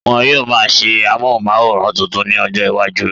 Wọn yóò máa ṣe amóhùnmáwòrán tuntun ní ọjọ iwájú